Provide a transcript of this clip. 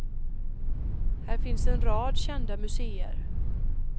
Här finns en rad kända museer.